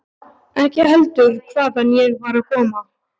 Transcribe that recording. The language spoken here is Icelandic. Ekki heldur hvaðan ég var að koma.